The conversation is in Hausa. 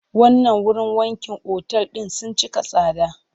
Wannan wurin wankin otal ɗin sun cika tsada.